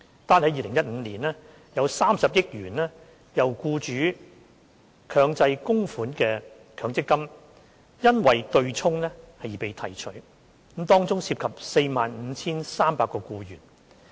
單在2015年，有30億元由僱主強制供款的強積金因對沖而被提取，當中涉及 45,300 名僱員。